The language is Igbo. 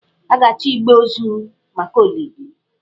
A ga-achọ igbe ozu maka olili.